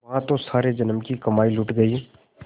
यहाँ तो सारे जन्म की कमाई लुट गयी